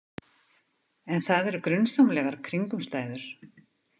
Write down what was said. En það eru grunsamlegar kringumstæður.